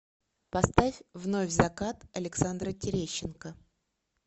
поставь вновь закат александра терещенко